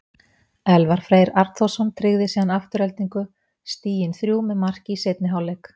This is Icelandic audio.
Elvar Freyr Arnþórsson tryggði síðan Aftureldingu stigin þrjú með marki í seinni hálfleik.